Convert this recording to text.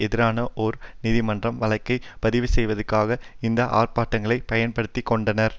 எதிரான ஒரு நீதிமன்ற வழக்கை பதிவுசெய்வதற்காக இந்த ஆர்ப்பாட்டங்களை பயன்படுத்தி கொண்டனர்